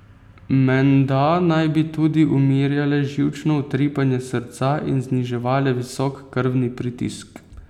Menda naj bi tudi umirjale živčno utripanje srca in zniževale visok krvni pritisk.